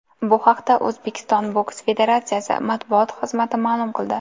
Bu haqda O‘zbekiston boks federatsiyasi matbuot xizmati ma’lum qildi .